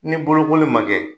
Ni bolokoli ma kɛ,